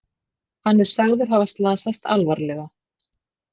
Hann er sagður hafa slasast alvarlega